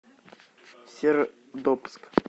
сердобск